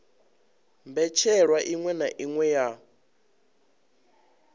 mbetshelwa iṅwe na iṅwe ya